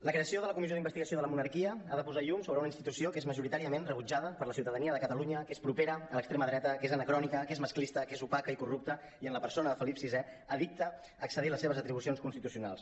la creació de la comissió d’investigació de la monarquia ha de posar llum sobre una institució que és majoritàriament rebutjada per la ciutadania de catalunya que és propera a l’extrema dreta que és anacrònica que és masclista que és opaca i corrupta i en la persona de felip vi addicta a excedir les seves atribucions constitucionals